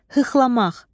Hıxlanmaq.